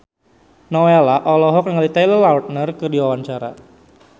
Nowela olohok ningali Taylor Lautner keur diwawancara